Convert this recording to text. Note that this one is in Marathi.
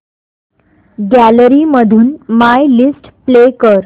गॅलरी मधून माय लिस्ट प्ले कर